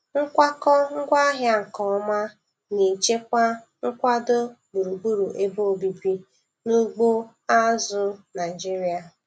Nkwakọ ngwaahịa nke ọma na-echekwa nkwado gburugburu ebe obibi na ugbo azụ̀ Naịjiria.